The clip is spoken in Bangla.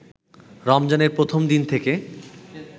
রমজানের প্রথম দিন থেকে